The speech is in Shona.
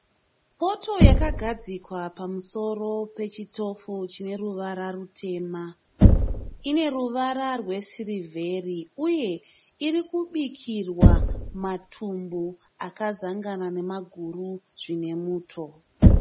Poto yakagadzikwawa pamusoro pechitovi chine ruvara rwutema ine ruvara rwesirivheri uye iri kubikirwa matumbu zvakasangana nemaguru zvine muto.